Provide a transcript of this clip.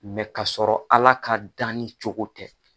mɛ k'a sɔrɔ ala ka danni cogo tɛ